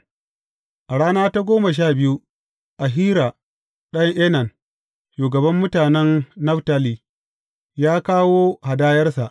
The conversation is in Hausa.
A rana ta goma sha biyu, Ahira ɗan Enan, shugaban mutanen Naftali, ya kawo hadayarsa.